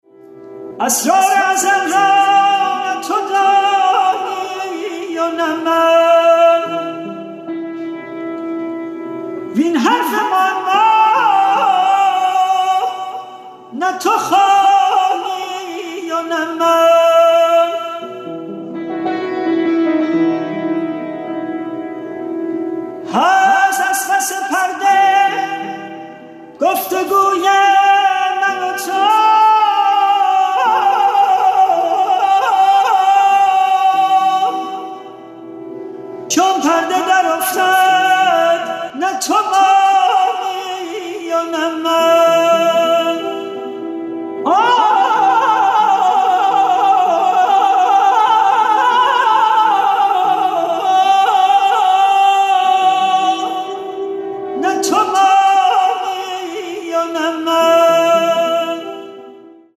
اسرار ازل را نه تو دانی و نه من وین حرف معما نه تو خوانی و نه من هست از پس پرده گفت وگوی من و تو چون پرده برافتد نه تو مانی و نه من